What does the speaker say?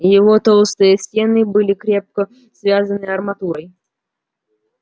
его толстые стены были крепко связаны арматурой